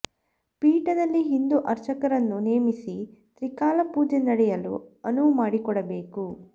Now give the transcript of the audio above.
ಪೀಠದಲ್ಲಿ ಹಿಂದೂ ಅರ್ಚಕರನ್ನು ನೇಮಿಸಿ ತ್ರಿಕಾಲ ಪೂಜೆ ನಡೆಯಲು ಅನುವು ಮಾಡಿಕೊಡಬೇಕು